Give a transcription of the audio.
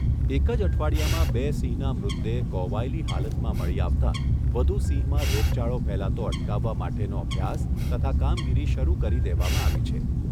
એક જ અઠવાડીયામાં બે સિંહના મૃતદેહ કોહવાયેલી હાલતમાં મળી આવતા વધુ સિંહમાં રોગચાળો ફેલાતો અટકાવવા માટેનો અભ્યાસ તથા કામગીરી શરૂ કરી દેવામાં આવી છે.